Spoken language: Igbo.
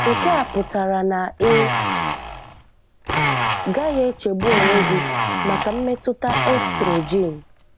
Nke a pụtara na ị gaghị echegbu onwe gị maka mmetụta estrogen.